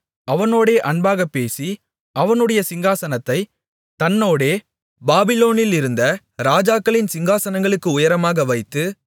அவனோடே அன்பாகப் பேசி அவனுடைய சிங்காசனத்தைத் தன்னோடே பாபிலோனிலிருந்த ராஜாக்களின் சிங்காசனங்களுக்கு உயரமாக வைத்து